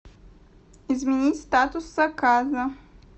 изменить статус заказа